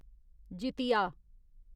Jitiya